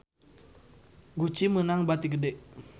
Gucci meunang bati gede